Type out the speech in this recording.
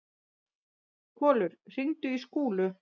Kolur, hringdu í Skúlu.